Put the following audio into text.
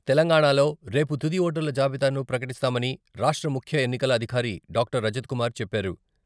తెలంగాణాలో రేపు తుది ఓటర్ల జాబితాను ప్రకటిస్తామని రాష్ట్ర ముఖ్య ఎన్నికల అధికారి డాక్టర్ రజిత్కుమార్ చెప్పారు